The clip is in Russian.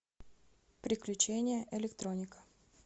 приключения электроника